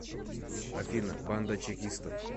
афина банда чекистов